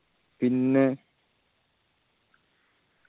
പിന്നെ